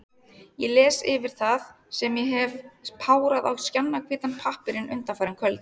Ég les yfir það, sem ég hef párað á skjannahvítan pappírinn undanfarin kvöld.